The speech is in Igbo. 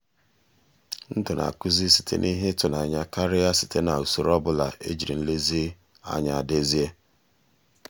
ndụ na-akụzi site na ihe ịtụnanya karịa site na usoro ọ bụla ejiri nlezianya dezie.